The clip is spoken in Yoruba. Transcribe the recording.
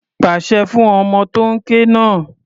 Pasẹ̀ fún ọmọ tó ń ké náà.